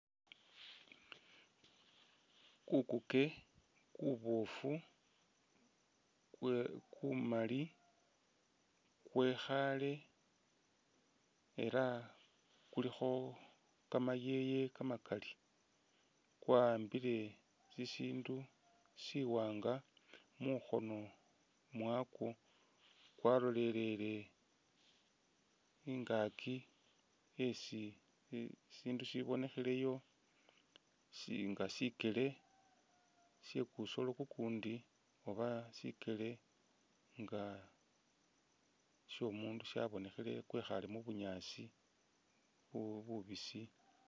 Kukuke kuboofu kwe kumali kwekhale ela kulikho kamayeye kamakali kwa'ambile shishindu shiwanga mukhono mwakwo kwalolelele ingaaki esi I shindu shibonekheleyo shi nga shikele shekusoolo kukundi oba sikeele nga shomundu shabonekhele, kwekhale mu bunyaasi bu bubisi